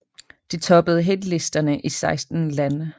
Det toppede hitlisterne i 16 lande